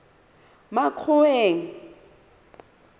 makgoweng